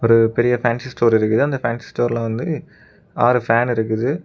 இது பெரிய fancy store இருக்குது அந்த பேன்சி ஸ்டோர்ல வந்து ஆறு ஃபேன் இருக்குது.